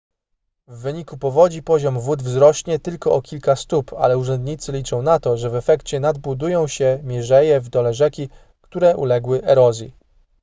w wyniku powodzi poziom wód wzrośnie tylko o kilka stóp ale urzędnicy liczą na to że w efekcie nadbudują się mierzeje w dole rzeki które uległy erozji